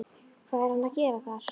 Hvað er hann að gera þar?